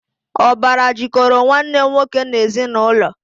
Ọbara jikọrọ Nwanne nwoke n'ezinụlọ